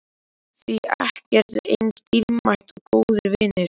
Því ekkert er eins dýrmætt og góðir vinir.